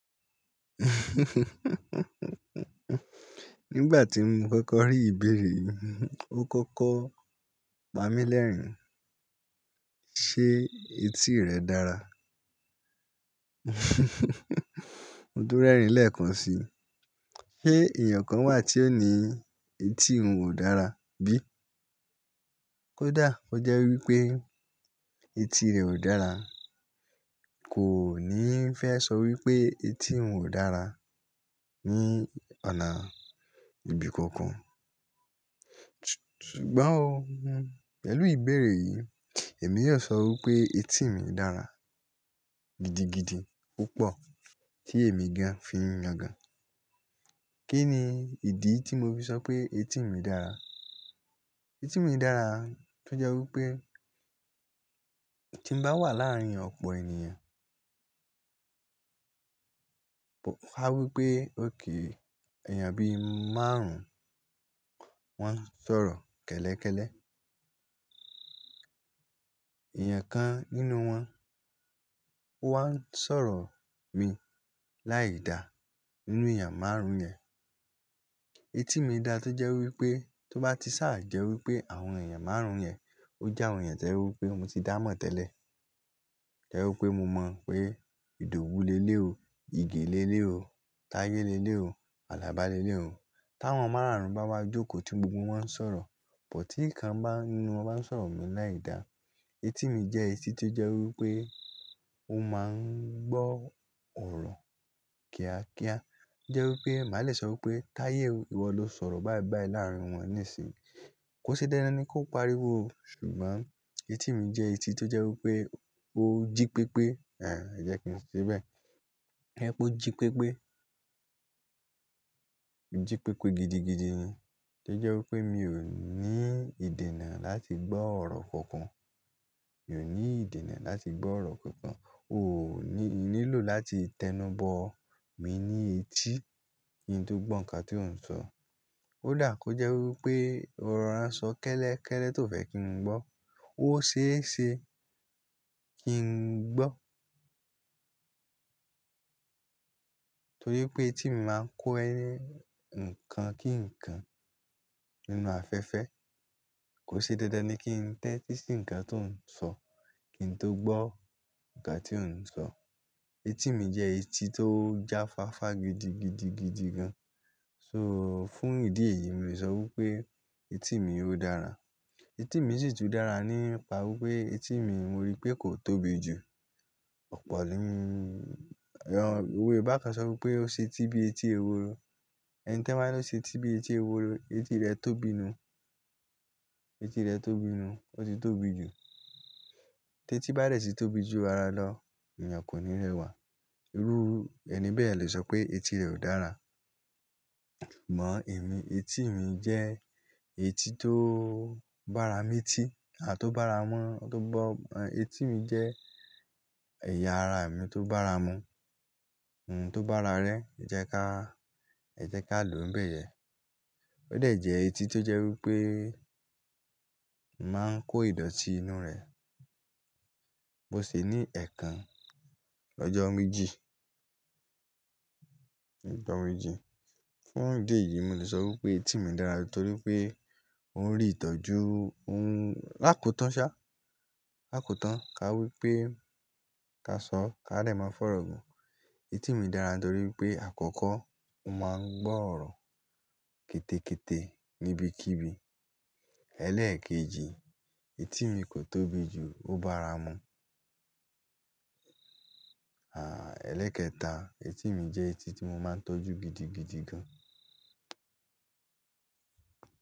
Nígbà tí mo kọ́kọ́ rí ìbéèrè yìí, ó kọ́kọ́ pa mí lẹ́rìn-ín. Ṣé etí rẹ dára? Mo dú rẹ́rìn-ín lẹ́ẹ̀kan si. Ṣé ènìyàn kan wà tí ó ní etí òun ò dára bi? Kódà ó jẹ́ wí pé etí rẹ ò dára, kò ní fẹ́ sọ wí pé etí òun ò dára ní ọ̀nà ibi kankan. Sugbọ́n, pẹ̀lú ìbéèrè yìí, èmi yóò sọ wí pé etí mi dára gidigidi púpọ̀ tí èmi gan fi ń yaga. Kí ni ìdí tí mo fi sọ pé etí mi dára? Etí mi dára tó jẹ́ wí pé tí n bá wà láàárín ọ̀pọ̀ ènìyàn, ká wí pé òkè èèyàn bí márùn-ún wọ́n ń sọ̀rọ̀ kẹ́lẹ́kẹ́lẹ́, èèyàn kan nínú wọn ó wá ń sọ̀rọ̀ mi láìda nínú èèyàn márùn-ún yẹn. Etí mi dá tó jẹ́ wí pé tó bá ti sá à jẹ́ wí pé àwọn èèyàn márùn-ún yẹn ó jẹ́ àwọn èèyàn tí ẹ wí pé mo ti dá mọ̀ tẹ́lẹ̀. Jẹ́ wí pé mo mọ̀ pé, "Ìdòwú le lé o, ìgè le lé o, táyé le lé o, alábá le lé o." Tí àwọn márùn-ún bá wá jókòó tí gbogbo wọn ń sọ̀rọ̀, bọ̀ tí kan nínú wọn bá ń sọ̀rọ̀ mi láìda, etí mi jẹ́ etí tó jẹ́ wí pé ó máa ń gbọ́ ọ̀rọ̀ kíákíá. Jẹ́ wí pé màá le sọ wí pé, "Táyé, ìwọ lo sọ̀rọ̀ bá bàí láàárín wọn níìsín." Kò ṣe déédé ni kó pariwo o, ṣùgbọ́n etí mi jẹ́ etí tó jẹ́ wí pé ó jí pépé, àń, ẹ jẹ́ kí n ṣẹ bẹ́ẹ̀. Ẹ pé ó jí pépé. Ó jí pépé gidigidi gan. Tó jẹ́ wí pé mi ò ní ìdènà láti gbọ́ ọ̀rọ̀ kankan. Mi ò ní ìdènà láti gbọ́ ọ̀rọ̀ kankan. O ò ní, nílò láti tẹnubọ mí ní etí kí n tó gbọ́ ǹkan tí ó ń sọ. kÓ dà kó jẹ́ wí pé ọ̀ rọ̀ rán sọ kẹ́lẹ́kẹ́lẹ́ tó fẹ́ kí n gbọ́. Ó ṣeéṣe kí n gbọ́. Torí pé etí mi máa ń kó ẹni ǹkan kí ǹkan nínú afẹ́fẹ́. Kò ṣe déédé ni kí n tẹ́tí sí ǹkan tó ń sọ kí n tó gbọ́ ǹkan tí ó ń sọ. Etí mi jẹ́ etí tó jáfáfá gidigidigidi gan. So fún ìdí èyí mi lè sọ wí pé etí mi ó dára. Etí mi sì tún dára nípa wí pé etí mi mo rí pé kò tóbi jù. Ọ̀pọ̀, ìwo e bákan sọ wí pé ó ṣe tí bí etí eworo. Ẹni tan bá ló ṣe tí bí etí eworo, etí rẹ̀ tóbi nu. Etí rẹ̀ tóbi nu. Ó ti tóbi jù. Tétí bá dẹ̀ tì tóbi jù ara lọ, èèyàn kò ní rewà. Rúru, ẹni bẹ́ẹ̀ lè sọ pé etí rẹ̀ ò dára. Mọ̀ emí, etí mi jẹ́ etí tó bá ara mí ti, à tó bá ara mọ, tó bá, etí mi jẹ́ ẹ̀yà ara mi tó bá ara mu. Hmm, tó b'ára rẹ, ẹ jẹ́ ká, ẹ jẹ́ ká lò bẹ́ẹ̀ yẹn. Ó de jẹ etí tó jẹ́ wí pé mo máa ń kó ìdọ̀tí inú rẹ. Mo sì ní ẹ̀kan lọ́jọ́ méjì. Lọ́jọ́ méjì. Fún ìdí èyí, mo lè sọ wí pé etí mi dára torí pé ó ń rì ìtọ́jú, òun, lákótan ṣá. Lákotan, ká wí pé ká sọ, ká lè máa fọ̀rọ̀ gun. Etí mi dára torí pé àkọ́kọ́ ó máa ń gbọ́ ọ̀rọ̀ kétékété níbikíbi. Eléèkejì, etí mi kò tóbi jù, ó bá ara mu. Àá, ẹlẹ́kẹta, etí mi jẹ́ etí tí mo máa ń tọ́jú gidigidi gan.